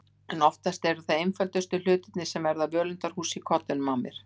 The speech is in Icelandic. En oftast eru það einföldustu hlutir sem verða að völundarhúsi í kollinum á mér.